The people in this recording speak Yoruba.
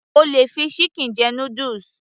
O lè fi chicken jẹ noodles